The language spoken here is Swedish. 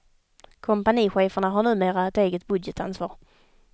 Kompanicheferna har numera ett eget budgetansvar.